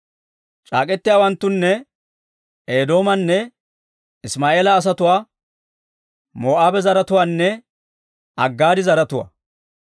C'aak'k'etiyaawanttunne Eedoomanne Isimaa'eela asatuwaa, Moo'aaba zaratuwaanne Aggaari zaratuwaa;